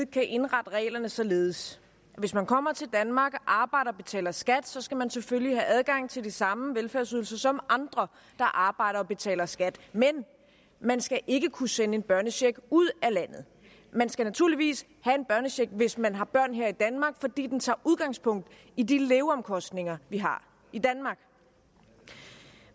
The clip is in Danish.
kan indrette reglerne således at hvis man kommer til danmark arbejder og betaler skat skal man selvfølgelig have adgang til de samme velfærdsydelser som andre der arbejder og betaler skat men man skal ikke kunne sende en børnecheck ud af landet man skal naturligvis have en børnecheck hvis man har børn her i danmark fordi den tager udgangspunkt i de leveomkostninger vi har i danmark